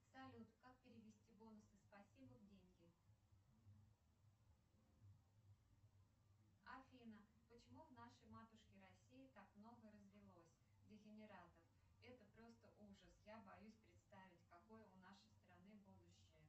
салют как перевести бонусы спасибо в деньги афина почему в нашей матушке россии так много развелось дегенератов это просто ужас я боюсь представить какое у нашей страны будущее